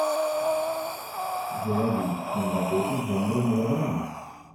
заводи киноработу жанра мелодрама